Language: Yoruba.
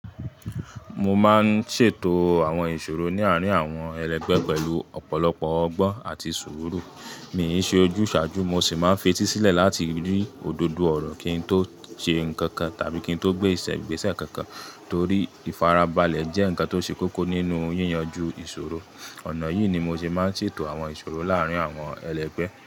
Mo máa ń ṣètò àwọn ìṣòro ní àárín àwọn ẹlẹgbẹ́ pẹ̀lú ọ̀pọ̀lọpọ̀ ọgbọ́n àti sùúrù. Mi ò ṣe ojúsàájú, mo sì máa ń fetí sílẹ̀ láti rí òdodo ọ̀rọ̀ kín tó ṣe nǹkan kan tàbí kín tó gbé ìṣẹ̀-ìgbésẹ̀ kankan torí ìfarabalẹ̀ jẹ́ ǹkan tó ṣe kókó nínú yíyanjú ìṣòro. Ọ̀nà yìí ni mo ṣe máa ń ṣètò àwọn ìṣòro láàrín àwọn ẹlẹgbẹ́.